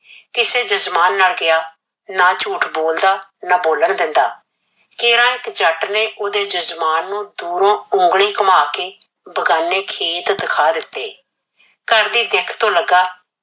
ਤੇ ਜਜਮਾਨ ਨਾਲ ਕਿਹਾ, ਨਾ ਝੂਠ ਬੋਲਦਾ ਨਾ ਬੋਲਣ ਦਿੰਦਾ। ਕਿਹਰਾ ਇਕ ਜੱਟ ਨੇ ਉਹਦੇ ਜਜਮਾਨ ਨੂੰ ਦੂਰੋਂ ਉਗਲੀ ਘੁੰਮਾ ਕੇ ਬਗਾਨੇ ਖੇਤ ਦਿਖਾ ਦਿੱਤੇ। ਘਰ ਦੀ ਦਿੱਖ ਤੋਂ ਲੱਗਾ